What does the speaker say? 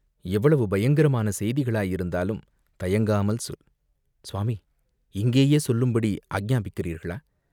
எவ்வளவு பயங்கரமான செய்திகளாயிருந்தாலும் தயங்காமல் சொல்!" "சுவாமி, இங்கேயே சொல்லும்படி ஆக்ஞாபிக்கிறீர்களா?